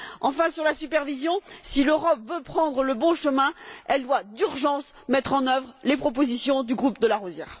Enfin, sur la supervision, si l'Europe veut prendre le bon chemin, elle doit d'urgence mettre en œuvre les propositions du groupe de Larosière.